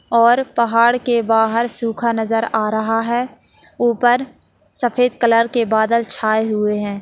और पहाड़ के बाहर सूखा नज़र आ रहा है ऊपर सफेद कलर के बादल छाए हुए हैं।